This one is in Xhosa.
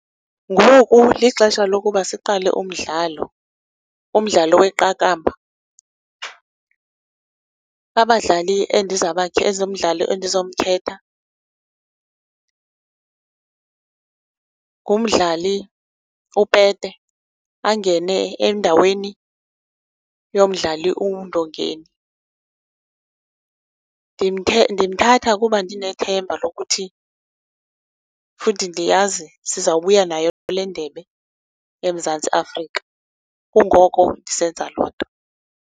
Ngoku lixesha lokuba siqale umdlalo, umdlalo weqakamba. Abadlali umdlali endizowumkhetha ngumdlali uPete angene endaweni yomdlali uNdongeni. Ndimthatha kuba ndinethemba lokuthi futhi ndiyazi sizawubuya nayo le ndebe eMzantsi Afrika, kungoko ndisenza loo nto.